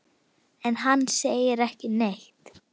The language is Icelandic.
En hann segir ekki neitt.